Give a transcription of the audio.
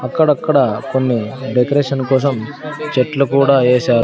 అక్కడక్కడ కొన్ని డెకరేషన్ కోసం చెట్లు కూడా వేశా--